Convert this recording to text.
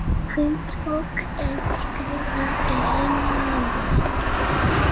Hvítbók er skrifað í einu orði.